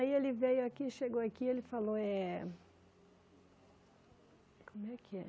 Aí ele veio aqui, chegou aqui, ele falou, é... como é que é?